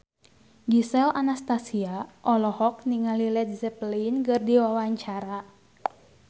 Gisel Anastasia olohok ningali Led Zeppelin keur diwawancara